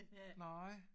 Nej